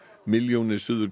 milljónir Suður